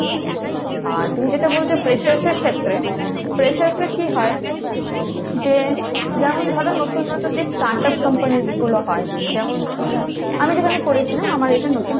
আর তুমি যেটা বলছো freshers এর ক্ষেত্রে, freshers রা কী হয় যে যেমন ধরো নতুন নতুন যে start-up companies গুলো হয়, যেমন কী আমি যেখানে করেছিলাম আমার এটা নতুন,